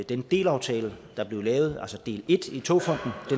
den delaftale der blev lavet altså del en i togfonden